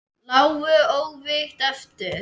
Lágu óvígir eftir.